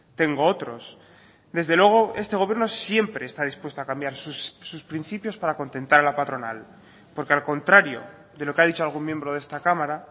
tengo otros desde luego este gobierno siempre está dispuesto a cambiar sus principios para contentar a la patronal porque al contrario de lo que ha dicho algún miembro de esta cámara